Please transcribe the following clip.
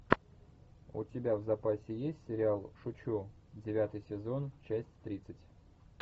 у тебя в запасе есть сериал шучу девятый сезон часть тридцать